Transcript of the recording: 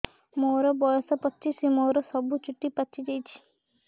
ମୋର ବୟସ ପଚିଶି ମୋର ସବୁ ଚୁଟି ପାଚି ଯାଇଛି